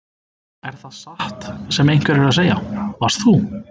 Er það satt sem einhverjir eru að segja: Varst þú.